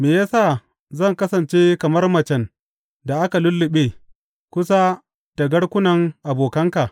Me ya sa zan kasance kamar macen da aka lulluɓe kusa da garkunan abokanka?